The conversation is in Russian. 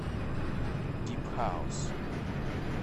дип хаус